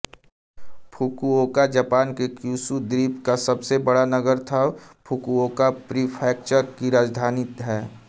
Fukuoka Japan के Kyushu द्वीप का सबसे बड़ा नगर तथा फुकुओका प्रीफ्रैक्चर की राजधानी है